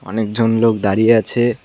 লোক দাঁড়িয়ে আছে।